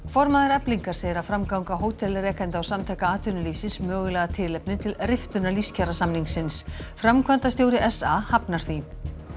formaður Eflingar segir að framganga hótelrekanda og Samtaka atvinnulífsins sé mögulega tilefni til riftunar framkvæmdastjóri s a hafnar því